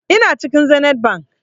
Ina cikin zenith bank